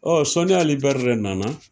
Ɔ sɔni Ali Bɛri de nana